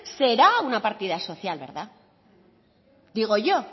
será una partida social verdad digo yo